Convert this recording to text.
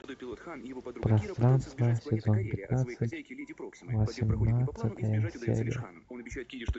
пространство сезон пятнадцать восемнадцатая серия